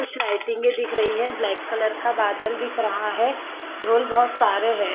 कुछ लाइटिंग दिख रही है ब्लैक कलर का बादल दिख रहा है ढोल बहुत सारे है।